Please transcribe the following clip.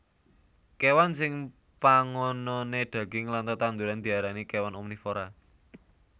Kéwan sing pangononé daging lan tetanduran diarani kéwan omnivora